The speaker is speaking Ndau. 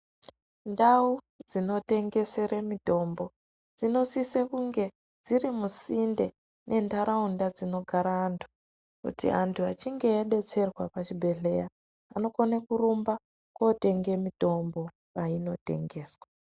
Ndau dzinotengesere mitombo dzinosise kunge dziri musinde mentaraunda dzinogara antu kuti antu achinge adetserwa pachibhedhleya vanokone kurumba kotenge mitombo painotengeswa.